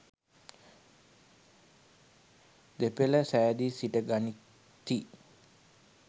දෙපෙළ සෑදී සිට ගනිති.